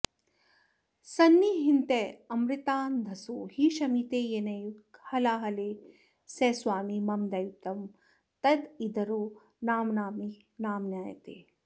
सन्नह्यन्त्यमृतान्धसो हि शमिते येनैव हालाहले स स्वामी मम दैवतं तदितरो नाम्नापि नाम्नायते